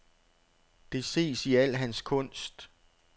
Det ses i al hans kunst.